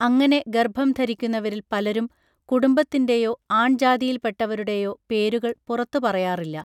അങ്ങനെ ഗർഭംധരിക്കുന്നവരിൽ പലരും കുടുംബത്തിൻ്റെയോ ആൺജാതിയിൽപ്പെട്ടവരുടെയോ പേരുകൾ പുറത്തുപറയാറില്ല